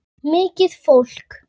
Mikið fólk.